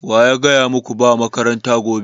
Wa ya gaya maku ba makaranta gobe?